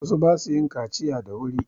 Wasu ba su yin kaciya da wuri.